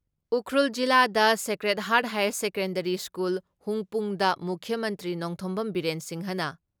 ꯎꯈ꯭ꯔꯨꯜ ꯖꯤꯂꯥꯗ Sacred Heart Higher Secondary School ꯍꯨꯡꯄꯨꯡꯗ ꯃꯨꯈ꯭ꯌ ꯃꯟꯇ꯭ꯔꯤ ꯅꯣꯡꯊꯣꯝꯕꯝ ꯕꯤꯔꯦꯟ ꯁꯤꯡꯍꯅ